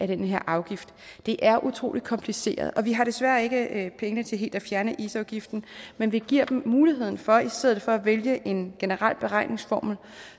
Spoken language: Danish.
den her afgift det er utrolig kompliceret vi har desværre ikke penge til helt at fjerne isafgiften men vi giver dem muligheden for i stedet for at vælge en generel beregningsformel